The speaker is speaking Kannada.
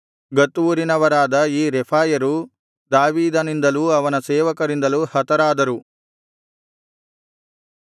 ಗತ್ ಊರಿನವರಾದ ಈ ರೆಫಾಯರು ದಾವೀದನಿಂದಲೂ ಅವನ ಸೇವಕರಿಂದಲೂ ಹತರಾದರು